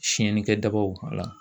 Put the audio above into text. Siyɛnni kɛ dabaw wala